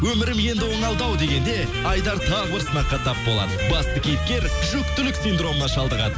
өмірім енді оңалды ау дегенде айдар тағы бір сынаққа тап болды басты кейіпкер жүктілік синдромына шалдығады